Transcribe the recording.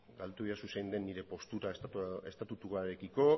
galdetu didazu zein den nire postura estatutuarekiko